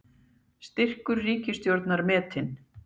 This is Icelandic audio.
Styrkur ríkisstjórnar metinn